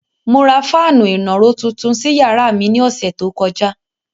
Mo ra fáànù ìnàró tuntun sí yàrá mi ní ọ̀sẹ̀ tó kọjá.